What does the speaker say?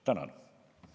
Tänan!